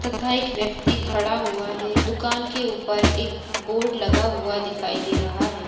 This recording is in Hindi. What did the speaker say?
तथा एक व्यक्ति खड़ा हुआ है दुकान के ऊपर- एकबोर्ड लगा हुआ दिखाई दे रहा है।